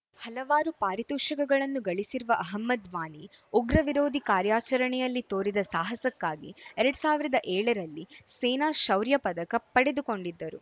ಹಲವಾರು ಪಾರಿತೋಷಕಗಳನ್ನು ಗಳಿಸಿರುವ ಅಹಮದ್‌ ವಾನಿ ಉಗ್ರ ವಿರೋಧಿ ಕಾರ್ಯಾಚರಣೆಯಲ್ಲಿ ತೋರಿದ ಸಾಹಸಕ್ಕಾಗಿ ಎರಡ್ ಸಾವಿರದ ಏಳರಲ್ಲಿ ಸೇನಾ ಶೌರ್ಯ ಪದಕ ಪಡೆದುಕೊಂಡಿದ್ದರು